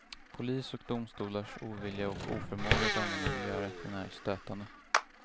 Polis och domstolars ovilja och oförmåga att använda miljörätten är stötande.